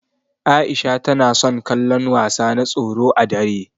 Aisha na son kallon wasa na tsoro ã dare.